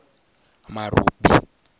marobi